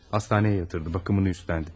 Hastaneye yatırdı, bakımını üstlendi.